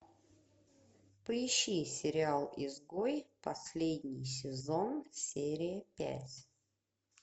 поищи сериал изгой последний сезон серия пять